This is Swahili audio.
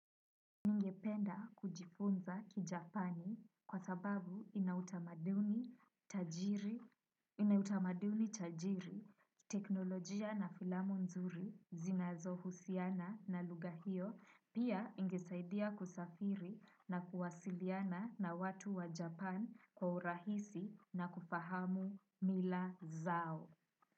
Ningependa kujifunza kijapani kwa sababu inautamaduni inautamaduni tajiri, teknolojia na filamu nzuri, zinazohusiana na lugha hio, pia ingesaidia kusafiri na kuwasiliana na watu wa Japan kwa urahisi na kufahamu mila zao.